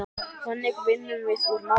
Þannig vinnum við úr málunum